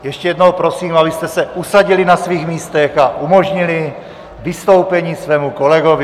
Ještě jednou prosím, abyste se usadili na svých místech a umožnili vystoupení svému kolegovi.